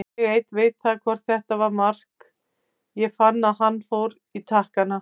Ég einn veit það hvort þetta var mark, ég fann að hann fór í takkana.